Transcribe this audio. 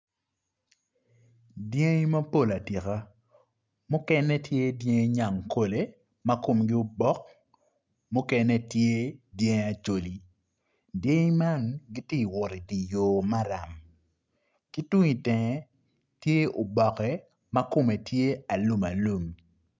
Diangi mapol atika mukene tye dyangi nyangkole makomgi obok mukene tye dyangi acholi, dyangi man gitye wot idiyor maram kitung i tenge tye oboke makome tye alum alum